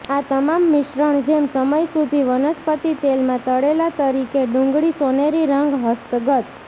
આ તમામ મિશ્રણ જેમ સમય સુધી વનસ્પતિ તેલમાં તળેલા તરીકે ડુંગળી સોનેરી રંગ હસ્તગત